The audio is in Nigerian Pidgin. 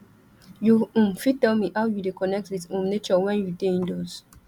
you um fit tell me how you dey connect with um nature when you dey indoors